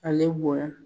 Ale bonya